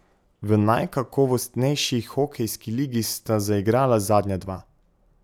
V najkakovostnejši hokejski ligi sta zaigrala zadnja dva.